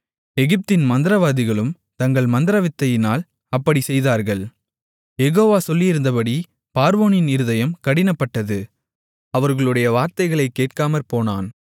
எகிப்தின் மந்திரவாதிகளும் தங்கள் மந்திரவித்தையினால் அப்படிச் செய்தார்கள் யெகோவா சொல்லியிருந்தபடி பார்வோனின் இருதயம் கடினப்பட்டது அவர்களுடைய வார்த்தைகளை கேட்காமற்போனான்